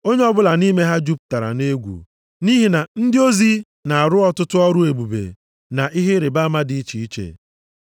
Onye ọbụla nʼime ha jupụtara na egwu, nʼihi na ndị ozi na-arụ ọtụtụ ọrụ ebube, na ihe ịrịbama dị iche iche.